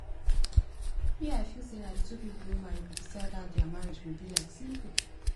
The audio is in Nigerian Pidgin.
me i feel say na the two people wey marry go decide how dia marriage go be like simple